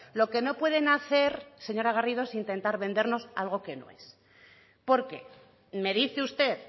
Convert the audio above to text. lo que no pueden hacer señora garrido es intentar vendernos algo que no es porque me dice usted